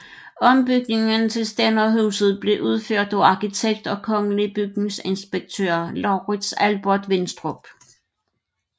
Ombygningen til stænderhuset blev udført af arkitekt og kongelig bygningsinspektør Laurits Albert Winstrup